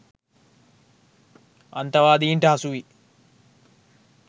අන්තවාදීන්ට හසු වී